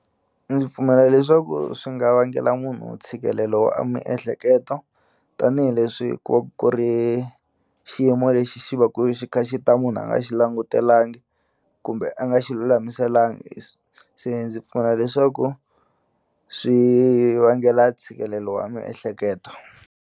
Ndzi pfumela leswaku swi nga vangela munhu ntshikelelo wa a miehleketo tanihileswi ku va ku ku ri xiyimo lexi xi va ku tikha xi ta munhu a nga xi langutelangi kumbe a nga xi lulamiselangi se ndzi pfuna leswaku swi vangela ntshikelelo wa miehleketo.